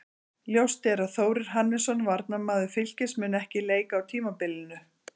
Ljóst er að Þórir Hannesson, varnarmaður Fylkis, mun ekkert leika á tímabilinu.